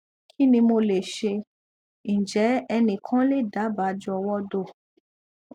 kini mo le se njẹ ẹnikan le daba jọwọ do